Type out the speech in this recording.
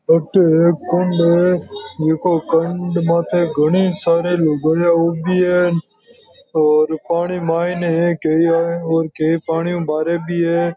अटे एक कुंड है कुंड माते घणी सारी लुगाईया उवि है और पाणी मैं है और कई पाणी भारे भी है।